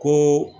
Ko